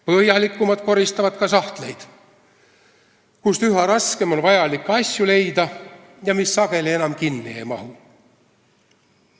Põhjalikumad koristavad ka sahtleid, kust üha raskem on vajalikke asju leida ja mis sageli enam kinni ei lähe.